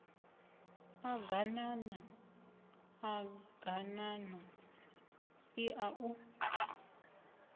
ḓ aganana ḓaganana iḓa u